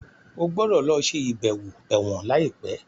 o gbódò ló ṣe ibẹwo èwòn laipe!